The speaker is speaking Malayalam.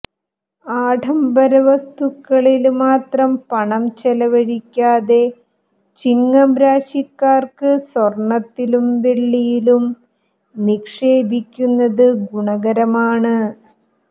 ആഢംബര വസ്തുക്കളില് മാത്രം പണം ചെലവഴിക്കാതെ ചിങ്ങം രാശിക്കാര്ക്ക് സ്വര്ണ്ണത്തിലും വെള്ളിയിലും നിക്ഷേപിക്കുന്നത് ഗുണകരമാണ്